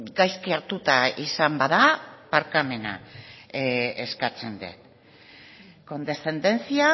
gaizki hartuta izan bada barkamena eskatzen dut condescendencia